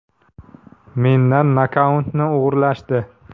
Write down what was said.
Mendan nokautni o‘g‘irlashdi.